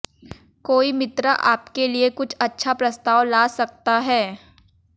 कोई मित्र आपके लिए कुछ अच्छा प्रस्ताव ला सकता है